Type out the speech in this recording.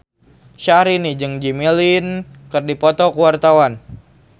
Syahrini jeung Jimmy Lin keur dipoto ku wartawan